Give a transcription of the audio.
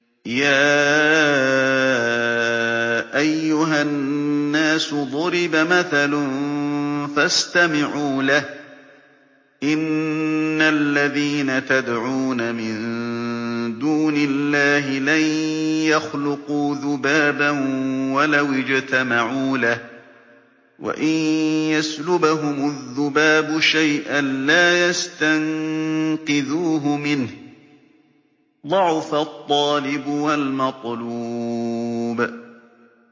يَا أَيُّهَا النَّاسُ ضُرِبَ مَثَلٌ فَاسْتَمِعُوا لَهُ ۚ إِنَّ الَّذِينَ تَدْعُونَ مِن دُونِ اللَّهِ لَن يَخْلُقُوا ذُبَابًا وَلَوِ اجْتَمَعُوا لَهُ ۖ وَإِن يَسْلُبْهُمُ الذُّبَابُ شَيْئًا لَّا يَسْتَنقِذُوهُ مِنْهُ ۚ ضَعُفَ الطَّالِبُ وَالْمَطْلُوبُ